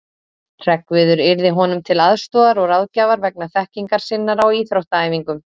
Hreggviður yrði honum til aðstoðar og ráðgjafar vegna þekkingar sinnar á íþróttaæfingum.